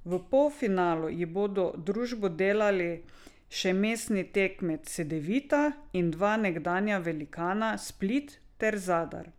V polfinalu ji bodo družbo delali še mestni tekmec Cedevita in dva nekdanja velikana Split ter Zadar.